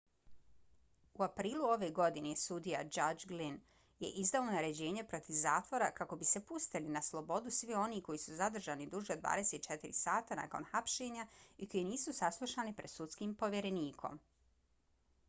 u aprilu ove godine sudija judge glynn je izdao naređenje protiv zatvora kako bi se pustili na slobodu svi oni koji su zadržani duže od 24 sata nakon hapšenja i koji nisu saslušani pred sudskim povjerenikom